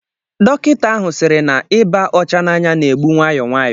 Dọkịta ahụ siiri na ịba ọcha n'anya na-egbu nwayọ nwayọ